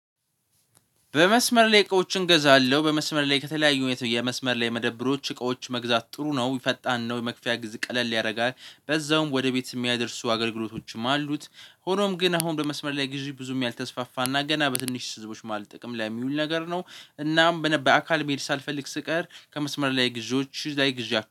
በመስመር ላይ እቃዎችን እገዛለሁ በመስመር ላይ ከተለያዩ የመስመር ላይ መደብሮች እቃዎች መግዛት ጥሩ ነው የፈጣን ነው የመክፈያ ግዜ ቀለል ያደርጋል በዛውም ወደ ቤት የሚያደርሱ አገልግሎቶችም አሉት። ሆኖም ግን አሁን በመስመር ላይ ጊዜ ብዙም ያልተስፋፋና ገና በትንሽ ህዝቦች መሃል ማለት ጥቅም ላይ የሚውል ነገር ነው። እናም በነበይ አካል መሄድ ሳልፈልግ ስቀር ከመስመር ላይ ግዝዎች ላይ ግዝ